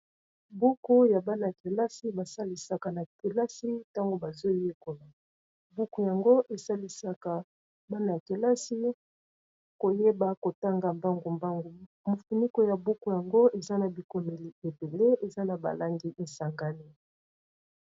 buku ya bana ya kelasi basalisaka na kelasi ntango bazoyekola. buku yango esalisaka bana ya kelasi koyeba kotanga mbangu-mbangu mofuniko ya buku yango eza na bikomeli ebele eza na balangi esangani